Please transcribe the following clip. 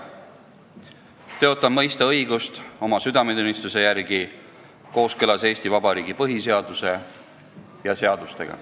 Tõotan mõista õigust oma südametunnistuse järgi kooskõlas Eesti Vabariigi põhiseaduse ja seadustega.